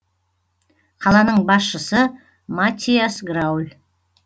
қаланың басшысы маттиас грауль